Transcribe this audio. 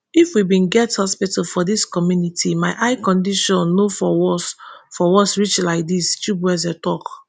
if we bin get hospital for dis community my eye condition no for worse for worse reach like dis chibueze tok